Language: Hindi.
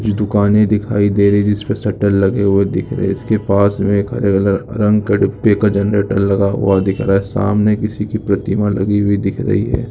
जो दुकाने दिखाई दे रही जिस पर शटर लगे हुए दिख रहे इसके पास में हरे कलर रंग के डिब्बे का जनरेटर लगा हुआ दिख रहा है। सामने किसी कि प्रतिमा लगी हुई दिख रही है।